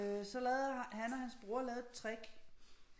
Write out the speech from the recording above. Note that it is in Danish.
Så lavede han og hans bror lavede et trick